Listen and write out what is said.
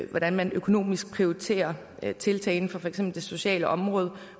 hvordan man økonomisk prioriterer tiltagene på for eksempel det sociale område